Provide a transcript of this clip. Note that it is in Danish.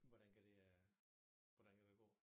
Hvordan kan det øh hvordan kan det gå